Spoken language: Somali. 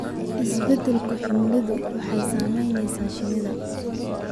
Isbeddelka cimiladu waxay saamaysaa shinida.